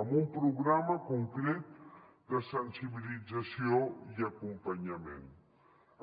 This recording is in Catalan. amb un programa concret de sensibilització i acompanyament